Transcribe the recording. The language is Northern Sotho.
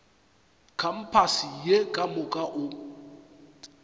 kampase ye ka moka o